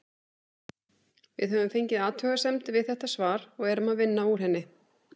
Við höfum fengið athugasemd við þetta svar og erum að vinna úr henni.